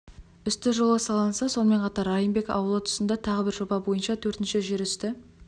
үсті жолы салынса сонымен қатар райымбек ауылы тұсында тағы бір жоба бойынша төртінші жер үсті